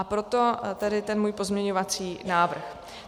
A proto tady ten můj pozměňovací návrh.